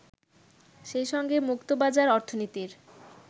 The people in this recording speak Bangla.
সেই সঙ্গে মুক্তবাজার অর্থনীতির